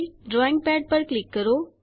drawing pad પર click કરો